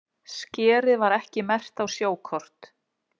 Skerið var ekki merkt á sjókort